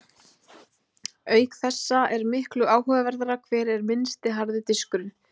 Auk þessa er miklu áhugaverðara hver er minnsti harði diskurinn!